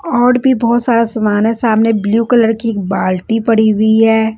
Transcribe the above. और भी बहोत सारा सामान है सामने ब्लू कलर की एक बाल्टी पड़ी हुई है।